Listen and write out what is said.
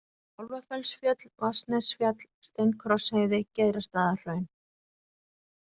Kálfafellsfjöll, Vatnsnesfjall, Steinkrossheiði, Geirastaðahraun